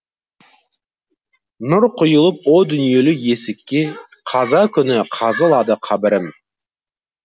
нұр құйылып о дүниелік есікке қаза күні қазылады қабірім